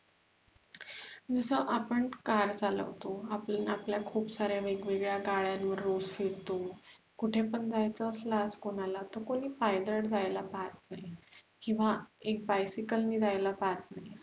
जसं आपण car चालवतो, आपण आपल्या खूप साऱ्या वेगवेळ्या गाड्यांवर रोज फिरतो कुठे पण जयच असल्यास कोणाला तर कोणी पायदळ जायला पाहत नाही किंवा एक bicycle ने जायला पाहत नाही, cycle